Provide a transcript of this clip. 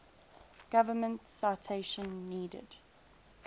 government citation needed